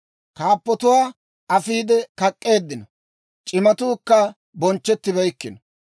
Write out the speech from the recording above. Kaappatuwaa afiide kak'k'eeddino; c'imatuukka bonchchettibeykkino.